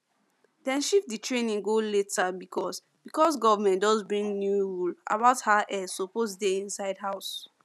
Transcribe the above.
dem shift the training go later because because government just bring new rule about how air suppose dey inside house